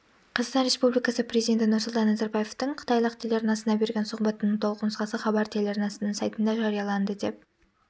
қазақстан республикасы президенті нұрсұлтан назарбаевтың қытайлық телеарнасына берген сұхбатының толық нұсқасы хабар телеарнасының сайтында жарияланды деп